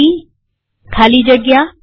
સીડી ખાલી જગ્યા